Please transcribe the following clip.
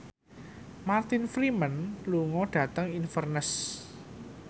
Martin Freeman lunga dhateng Inverness